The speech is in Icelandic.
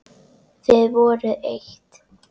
Þið voruð eitt.